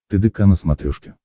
тдк на смотрешке